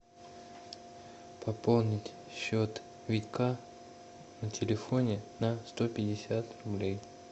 пополнить счет вика на телефоне на сто пятьдесят рублей